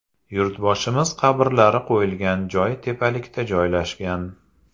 Yurtboshimiz qabrlari qo‘yilgan joy tepalikda joylashgan.